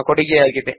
ಬಾಂಬೆಯಿಂದ ವಾಸುದೇವ